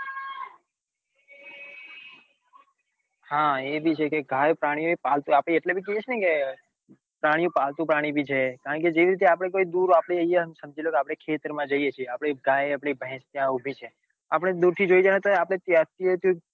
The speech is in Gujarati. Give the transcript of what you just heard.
હા એ ભી છે કે ગાયો પ્રાણીઓ એ પાલતુ આપડે એટલે બ કાઈએ છે કે પ્રાણીઓ પાલતુ પ્રાણીઓ બી છે કારણ કે જેવી રીતે આપડે કોઈ દૂર આપડે સમજી આપડે ખેતર માં જઈએ છીએ આપડી ગાય ભેંસ ઉભી ત્યાં ઉભી છે આપડે દૂર થી જોઈ